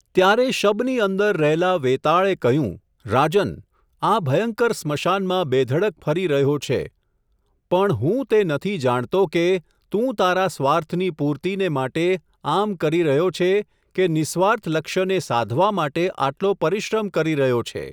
ત્યારે શબની અંદર રહેલા વૅતાળે કહ્યું, રાજન, આ ભયંકર સ્મશાનમાં બેધડક ફરી રહ્યો છે, પણ હું તે નથી જાણતો કે, તું તારા સ્વાર્થની પૂર્તિને માટે, આમ કરી રહ્યો છે, કે નિસ્વાર્થ લક્ષ્યને સાધવા માટે આટલો પરિશ્રમ કરી રહ્યો છે.